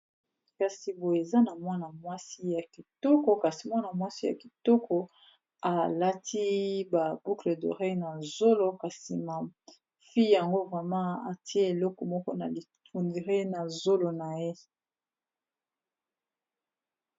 kasi boyo eza na mwana wakasi, mwana mwasi ya kitoko alati ba boucle d'oreille na zolo kasi na fille yango vraiment atiye eloko moko na on dire na zolo na ye.